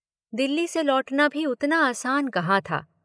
दिल्ली से लौटना भी उतना आसान कहां था।